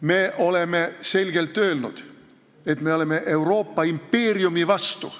Me oleme selgelt öelnud, et me oleme Euroopa impeeriumi vastu.